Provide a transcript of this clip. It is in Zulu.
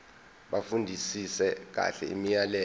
bafundisise kahle imiyalelo